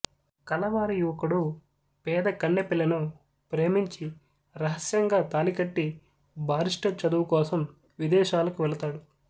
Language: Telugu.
కలవారి యువకుడు పేద కన్నెపిల్లను ప్రేమించి రహస్యంగా తాళికట్టి బారిస్టర్ చదువుకోసం విదేశాలకు వెళతాడు